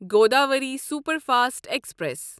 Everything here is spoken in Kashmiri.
Godavari superfast express